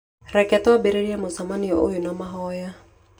Rekei twambĩrĩrie mũcemanio ũyũ na mahoya.